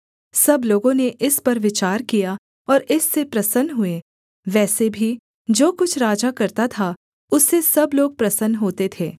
सब लोगों ने इस पर विचार किया और इससे प्रसन्न हुए वैसे भी जो कुछ राजा करता था उससे सब लोग प्रसन्न होते थे